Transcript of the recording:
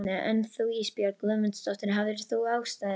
En þú Ísbjörg Guðmundsdóttir, hafðir þú ástæðu?